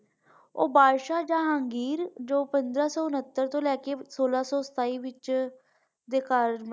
ਉਹ ਬਾਦਸ਼ਾਹ ਜਹਾਂਗੀਰ ਜੋ ਪੰਦਰਾਂ ਸੋ ਉਣੱਤਰ ਤੋਂ ਲੈ ਕੇ ਸੋਲਾਂ ਸੋ ਸਤਾਈ ਵਿਚ ਦੇ ਕਾਰਨ।